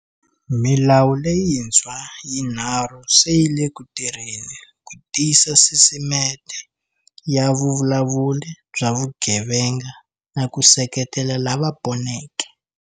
Milawu leyintshwa yinharhu se yi le ku tirheni ku tiyisa sisimete ya vuvulavuli bya vugevenga na ku seketela lava poneke.